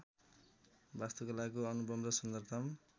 वास्तुकलाको अनुपम र सुन्दरतम